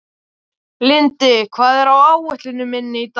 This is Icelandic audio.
Lindi, hvað er á áætluninni minni í dag?